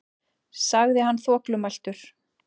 sagði hann þvoglumæltur.